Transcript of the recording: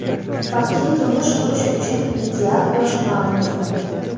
Baxtli turmush qurish uchun ideal yosh ma’lum qilindi.